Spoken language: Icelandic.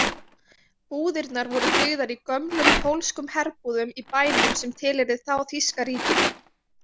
Búðirnar voru byggðar í gömlum pólskum herbúðum í bænum sem tilheyrði þá þýska ríkinu.